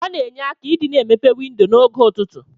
Ọna enye aka idi na emepe windo na og ụtụtụ.